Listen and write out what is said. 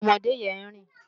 Òmòdé yèn n rin